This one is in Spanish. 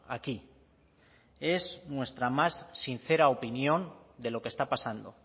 aquí es nuestra más sincera opinión de lo que está pasando